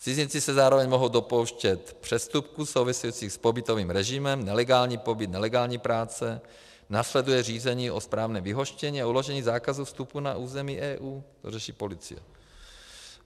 Cizinci se zároveň mohou dopouštět přestupků souvisejících s pobytovým režimem, nelegální pobyt, nelegální práce, následuje řízení o správním vyhoštění a uložení zákazu vstupu na území EU, to řeší policie.